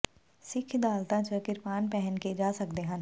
ਸਿਖ ਅਦਾਲਤਾਂ ਚ ਕਿਰਪਾਨ ਪਹਿਨ ਕੇ ਜਾ ਸਕਦੇ ਹਨ